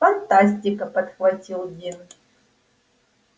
фантастика подхватил дин